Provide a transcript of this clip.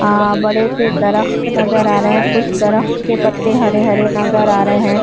آ بڑے سے درخت نظر آ رہی ہے۔ درخت کے پتے ہرے ہرے نظر آ رہے ہے۔